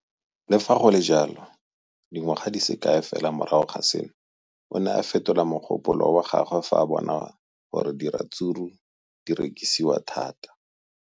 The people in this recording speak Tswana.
Le fa go le jalo, dingwaga di se kae fela morago ga seno, o ne a fetola mogopolo wa gagwe fa a bona gore diratsuru di rekisiwa thata.